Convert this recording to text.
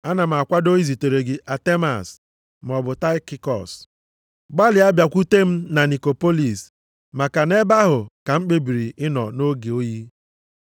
Ana m akwado izitere gị Atemas maọbụ Taịkikọs. Gbalịa bịakwute m na Nikopolis, maka nʼebe ahụ ka m kpebiri ịnọ nʼoge oyi.